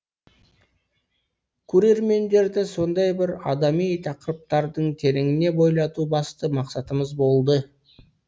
көрермендерді сондай бір адами тақырыптардың тереңіне бойлату басты мақсатымыз болды